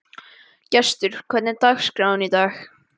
Gestur, hvernig er dagskráin í dag?